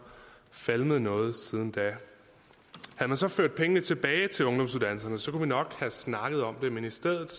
falmet noget siden da havde man så ført pengene tilbage til ungdomsuddannelserne kunne vi nok have snakket om det men i stedet